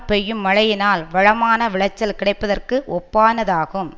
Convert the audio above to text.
பெய்யும் மழையினால் வளமான விளைச்சல் கிடைப்பதற்கு ஒப்பானதாகும்